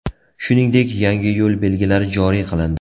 Shuningdek, yangi yo‘l belgilari joriy qilindi .